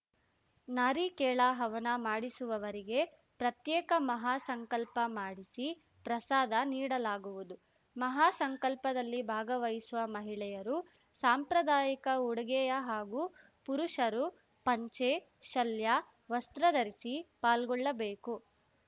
ನಾರಿಕೇಳ ಹವನ ಮಾಡಿಸುವುವರಿಗೆ ಪ್ರತ್ಯೇಕ ಮಹಾ ಸಂಕಲ್ಪ ಮಾಡಿಸಿ ಪ್ರಸಾದ ನೀಡಲಾಗುವುದು ಮಹಾಸಂಕಲ್ಪದಲ್ಲಿ ಭಾಗವಹಿಸುವ ಮಹಿಳೆಯರು ಸಾಂಪ್ರಾದಾಯಿಕ ಉಡುಗೆಯ ಹಾಗೂ ಪುರುಷರು ಪಂಚೆ ಶಲ್ಯ ವಸ್ತ್ರ ಧರಿಸಿ ಪಾಲ್ಗೊಳ್ಳಬೇಕು